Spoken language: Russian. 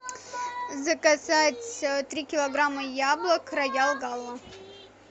заказать три килограмма яблок роял гала